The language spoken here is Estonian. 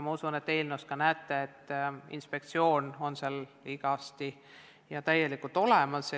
Ma usun, et sellest eelnõust te näete, et inspektsioon on seal igati ja täielikult olemas.